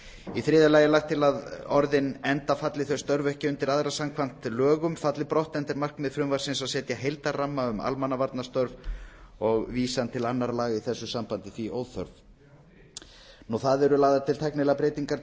í þriðja lagi er lagt til að orðin enda falli þau störf ekki undir aðra samkvæmt lögum falli brott enda er markmið frumvarpsins að setja heildarramma um almannavarnastörf og vísan til annarra laga því óþörf að eru lagðar til tæknilegar breytingar